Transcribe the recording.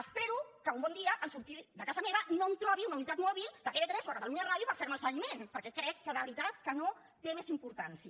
espero que un bon dia en sortir de casa meva no em trobi una unitat mòbil de tv3 o de catalunya ràdio per fer me el seguiment perquè crec de veritat que no té més importància